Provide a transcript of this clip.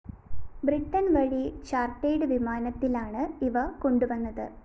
ബ്രിട്ടന്‍ വഴി ചാർട്ടേർഡ്‌ വിമാനത്തിലാണ് ഇവ കൊണ്ടുവന്നത്